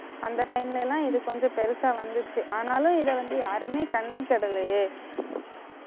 அந்த time ல எல்லாம் இது கொஞ்சம் பெருசா வந்துச்சு ஆனாலும் இதை வந்து யாருமே கண்டுக்கிடலையே